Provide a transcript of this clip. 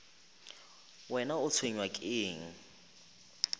wena o tshwenywa ke eng